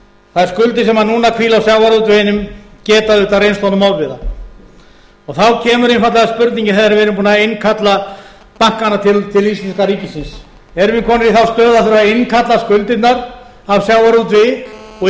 framtíðinni þær skuldir sem núna hvíla á sjávarútveginum geta auðvitað reynst honum ofviða þá kemur einfaldlega spurningin þegar við erum búin að innkalla bankana til íslenska ríkisins erum við komnir í þá stöðu að þurfa að innkalla skuldirnar af sjávarútvegi og